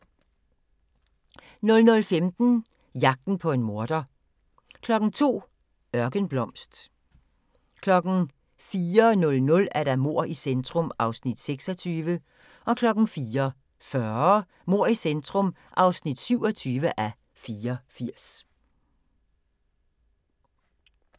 00:15: Jagten på en morder 02:00: Ørkenblomst 04:00: Mord i centrum (26:84) 04:40: Mord i centrum (27:84)